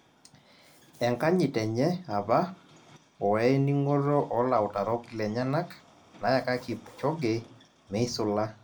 Enkanyit enye apa woe ning'oto olautarok lenyenak nayaka kipchoge meisula